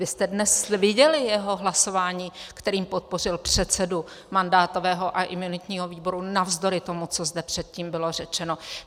Vy jste dnes viděli jeho hlasování, kterým podpořil předsedu mandátového a imunitního výboru navzdory tomu, co zde předtím bylo řečeno.